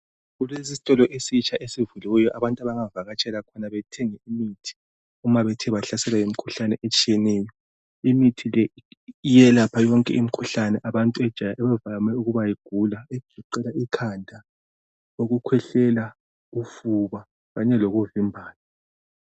Kulesisitolo esitsha esivuliweyo abantu abangavakatshela khona bethenge imithi uma bethe bahlaselwa yimikhuhlane etshiyeneyo. Imithi le iyelapha yonke imikhuhlane abantu abavame ukuyigula egoqela: ikhanda, ukukhwehlela, ufuba kanye lokuvimbana